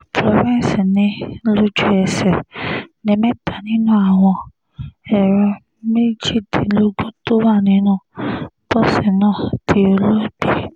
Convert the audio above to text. florence ni lójú-ẹsẹ̀ ní mẹ́ta nínú àwọn ẹ̀rọ méjìdínlógún tó wà nínú bọ́ọ̀sì náà ti dolóògbé